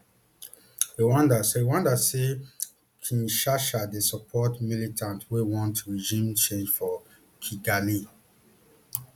rwanda say rwanda say kinshasa dey support militiants wey want regime change for kigali